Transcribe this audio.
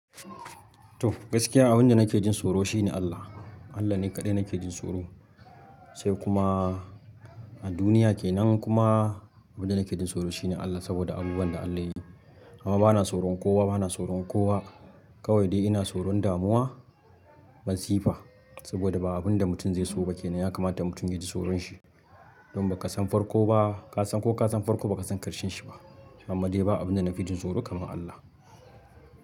Toh gaskiya abin da nake jin tsoro shine Allah. Allah ne kaɗai nake jin tsoro, sai kuma a duniya kenan kuma abin da nake jin tsoro shine Allah saboda abubuwan da Allah yayi. Amma bana tsoron kowa, bana tsoron kowa. Kawai dai ina tsoron damuwa, masifa saboda ba abin da mutum zai so ba kenan ya kamata mutum ya ji tsoron shi. Don ba kasan farko ba, ka san ko ka san farko ba kasan karshen shi ba. Amma dai ba abin da na fi jin tsoro kaman Allah.